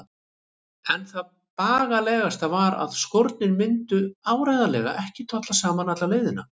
En það bagalegasta var að skórnir myndu áreiðanlega ekki tolla saman alla leiðina.